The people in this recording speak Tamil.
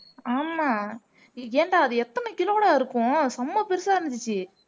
ஆமா ஏன்டா அது எத்தனை kilo டா இருக்கும் செம பெருசா இருந்துச்சு